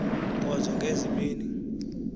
nkonzo ngezi mini